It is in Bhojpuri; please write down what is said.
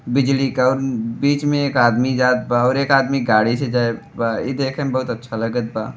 बिजली का और बिच में एक आदमी जात बा और एक आदमी गाड़ी से जाइत बा इ देखे में बहुत अच्छा लगत बा।